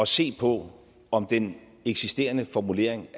se på om den eksisterende formulering